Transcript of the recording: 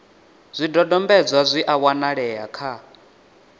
zwidodombedzwa zwi a wanalea kha